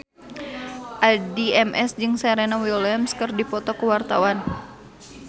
Addie MS jeung Serena Williams keur dipoto ku wartawan